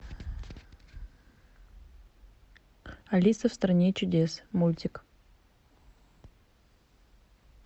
алиса в стране чудес мультик